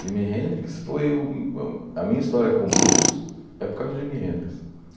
Jimi Hendrix foi o a... A minha história com o Blues é por causa do Jimi Hendrix.